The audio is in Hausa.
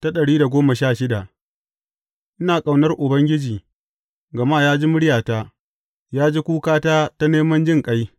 Ina ƙaunar Ubangiji, gama ya ji muryata; ya ji kukata ta neman jinƙai.